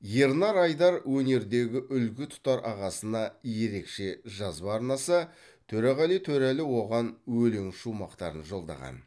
ернар айдар өнердегі үлгі тұтар ағасына ерекше жазба арнаса төреғали төреәлі оған өлең шумақтарын жолдаған